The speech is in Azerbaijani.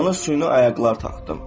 Ona süni ayaqlar taxdım.